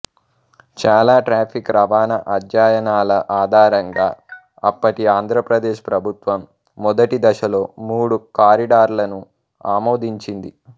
చాలా ట్రాఫిక్ రవాణా అధ్యయనాల ఆధారంగా అప్పటి ఆంధ్రప్రదేశ్ ప్రభుత్వం మొదటి దశలో మూడు కారిడార్లను ఆమోదించింది